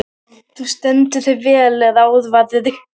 Þú stendur þig vel, Ráðvarður!